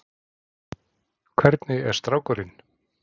Hvernig er strákurinn?